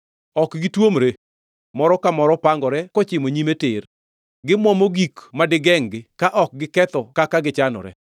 Ok gituomre, moro ka moro pangore kochimo nyime tir. Gimuomo gik madigengʼ-gi ka ok giketho kaka gichanore.